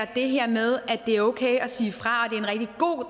det her med at det er okay at sige fra